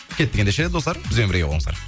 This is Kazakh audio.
кеттік ендеше достар бізбен бірге болыңыздар